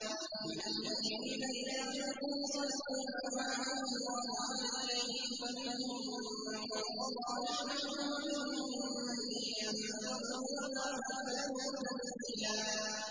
مِّنَ الْمُؤْمِنِينَ رِجَالٌ صَدَقُوا مَا عَاهَدُوا اللَّهَ عَلَيْهِ ۖ فَمِنْهُم مَّن قَضَىٰ نَحْبَهُ وَمِنْهُم مَّن يَنتَظِرُ ۖ وَمَا بَدَّلُوا تَبْدِيلًا